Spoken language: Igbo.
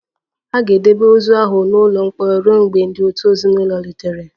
A ga-edebe ozu ahụ n'ụlọ mkpọrọ ruo mgbe ndị òtù ezinụlọ rutere